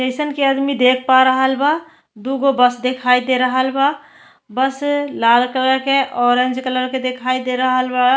Patient के आदमी देख पा रहल बा। दू गो बस दिखइ दे रहल बा। बस लाल कलर के ऑरेंज कलर